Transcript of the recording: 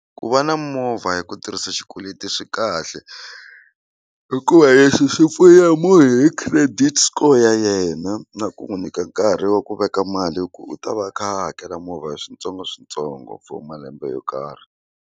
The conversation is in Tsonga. Ku va na movha hi ku tirhisa xikweleti swi kahle hikuva lexi xi pfuna hi credit score ya yena na ku n'wu nyika nkarhi wa ku veka mali ku u ta va a kha a hakela movha hi switsongoswintsongo for malembe yo karhi.